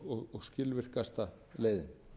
og skilvirkasta leiðin